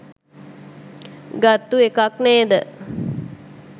ගත්තු එකක් නේද?